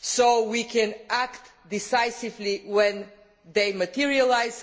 so that we can act decisively when they materialise.